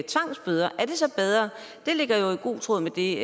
tvangsbøder er det så bedre det ligger jo i god tråd med det